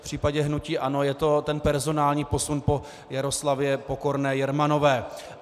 V případě hnutí ANO je to ten personální posun po Jaroslavě Pokorné Jermanové.